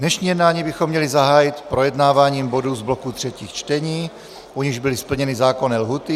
Dnešní jednání bychom měli zahájit projednáváním bodů z bloku třetích čtení, u nichž byly splněny zákonné lhůty.